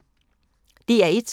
DR1